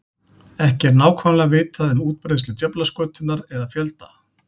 Ekki er nákvæmlega vitað um útbreiðslu djöflaskötunnar eða fjölda.